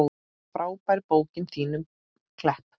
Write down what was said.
Frábær bókin þín um Klepp.